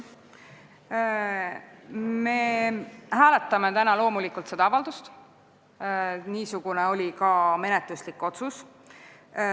Me hääletame täna loomulikult seda avaldust, niisugune oli ka menetluslik otsus.